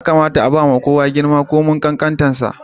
Ya kamata a ba ma kowa girma, ko ya karamin sa.